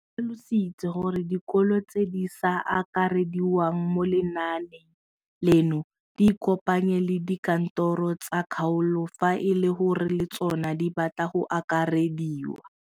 O tlhalositse gore dikolo tse di sa akarediwang mo lenaaneng leno di ikopanye le dikantoro tsa kgaolo fa e le gore le tsona di batla go akarediwa.